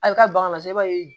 A bɛ ka bagan nasugu i b'a ye